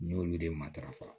N y'olu de matarafa